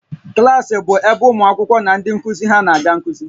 Klas bụ ebe ụmụ akwụkwọ na ndị nkuzi ha na-aga nkuzi